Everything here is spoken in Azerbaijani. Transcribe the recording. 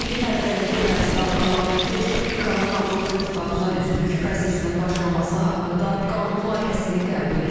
İlin əvvəlində Ermənistan parlamenti Respublikanın Avropa İttifaqına üzvlük prosesinin başlaması haqqında qanun layihəsini qəbul etdi.